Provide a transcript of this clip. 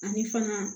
Ani fana